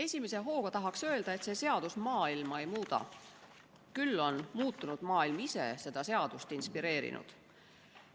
Esimese hooga tahaks öelda, et see seadus maailma ei muuda, küll on muutunud maailm ise seda seadust tegema inspireerinud.